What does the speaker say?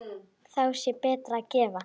Þá sé betra að gefa.